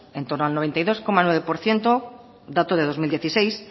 en torno al noventa y dos coma nueve por ciento dato de dos mil dieciséis